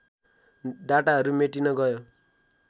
डाटाहरू मेटिन गयो